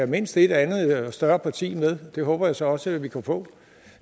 mindst et andet større parti med det håber jeg så også vi kan få